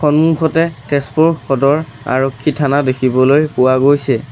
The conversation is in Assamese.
সন্মুখতে তেজপুৰ সদৰ আৰক্ষী থানা দেখিবলৈ পোৱা গৈছে।